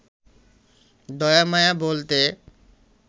দয়া মায়া বলতে